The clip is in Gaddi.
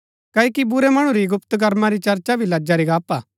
क्ओकि बुरै मणु री गुप्त कमां री चर्चा भी लज्जा री गप्‍प हा